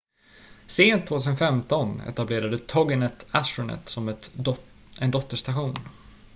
sent 2015 etablerade toginet astronet som en dotterstation